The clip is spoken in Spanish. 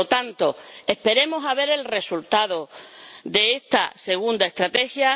Por lo tanto, esperemos a ver el resultado de esta segunda estrategia.